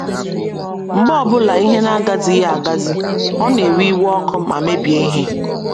Mgbe ọ bụla ihe na - agazighị agazi, ọ na - ewe iwe ọkụ ma mebie ihe.